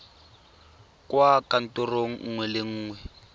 kwa kantorong nngwe le nngwe